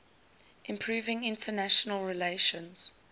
improving international relations